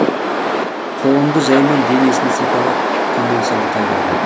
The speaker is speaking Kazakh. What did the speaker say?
қолымды жәймен денесін сипалап төмен сырғыта бердім